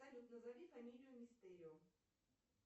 салют назови фамилию мистерио